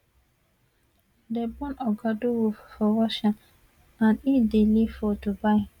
dem born oga durov for russia and e dey live for dubai